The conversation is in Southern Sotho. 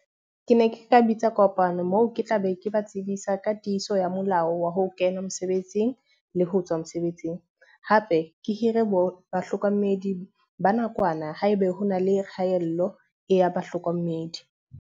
Ke ne ke ka bitsa kopano moo ke tla be ke ba tsebisa ka tiiso ya molao wa ho kena mosebetsing le ho tswa mosebetsing. Hape ke hire bahlokomedi ba nakwana ha ebe ho na le kgaello e ya bahlokomedi.